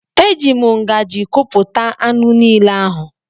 E ji m ngaji kupụta anụ niile ahụ.